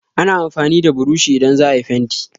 Ana amfani da burushi idan za a yi fenti